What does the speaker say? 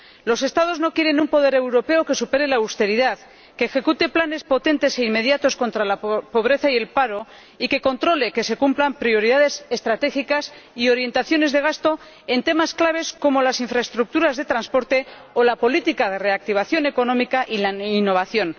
Los Estados no quieren un poder europeo que supere la austeridad, que ejecute planes potentes e inmediatos contra la pobreza y el paro, y que controle que se cumplan prioridades estratégicas y orientaciones de gasto en temas clave como las infraestructuras de transporte o la política de reactivación económica y la innovación.